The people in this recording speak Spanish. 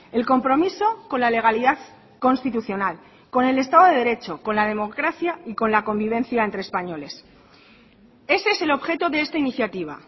el compromiso con la legalidad constitucional con el estado de derecho con la democracia y con la convivencia entre españoles ese es el objeto de esta iniciativa